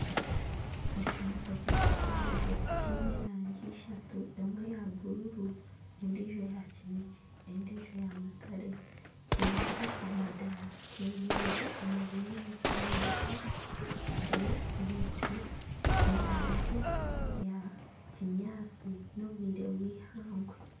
Ekimotoka kihango kiine erangi eishatu emwe ya bururu, endiijo ya kineekye, endiijo ya mutare, kineho amadaara kyemereire omu binyaatsi enyima yaakyo hariyo emiti kiine erangi eya kinyaatsi n'obwire bw'eihangwe